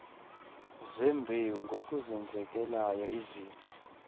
zembewu ngokuzenzekelayo izixa